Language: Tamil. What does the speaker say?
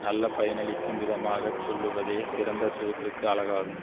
நல்ல பயனளிக்கும் விதமாகச் சொல்லுவதே சிறந்த தூதருக்கு அழகாகும்